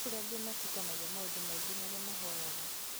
Nĩkũrĩ angĩ matukanagia maũndũ maingĩ marĩa mahoyaga